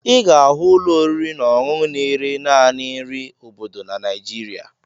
Ị ga-ahụ ụlọ oriri na ọṅụṅụ na-ere naanị nri obodo na Naịjirịa